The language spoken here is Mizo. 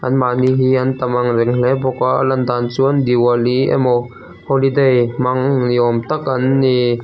an mahni hi an tam ang reng hle bawk a lan dan chuan diwali emaw holiday hmang ni awm tak an ni.